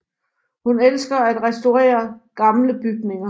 Hun elsker at restaurere gamle bygninger